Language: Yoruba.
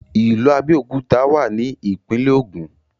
ìlú Abéòkúta wà ní ìpínlẹ̀ Ògùn